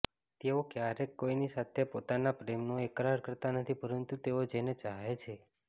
તેઓ ક્યારેક કોઈની સાથે પોતાના પ્રેમનો એકરાર કરતા નથી પરંતુ તેઓ જેને ચાહે છે